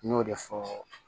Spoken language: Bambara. N y'o de fɔ